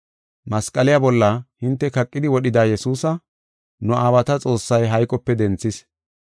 Masqaliya bolla hinte kaqidi wodhida Yesuusa, nu aawata Xoossay hayqope denthis.